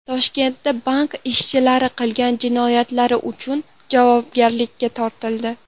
Toshkentda bank ishchilari qilgan jinoyatlari uchun javobgarlikka tortildi.